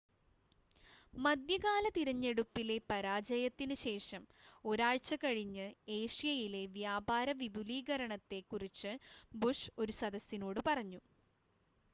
മധ്യകാല തിരഞ്ഞെടുപ്പിലെ പരാജയത്തിന് ശേഷം ഒരാഴ്ച്ച കഴിഞ്ഞ് ഏഷ്യയിലെ വ്യാപാര വിപുലീകരണത്തെ കുറിച്ച് ബുഷ് ഒരു സദസ്സിനോട് പറഞ്ഞു